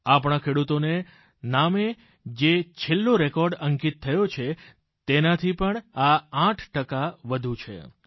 આપણા ખેડૂતોને નામે જે છેલ્લો રેકોર્ડ અંકિત થયો છે તેનાથી પણ આ 8 ટકા વધુ છે